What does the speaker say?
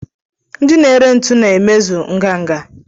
Ndị na-ere ntu na-emezu ngana